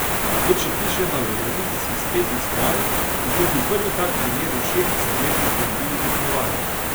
Kot še piše na evrovizijski spletni strani, bi to bil prvi tak primer v šestdesetletni zgodovini tekmovanja.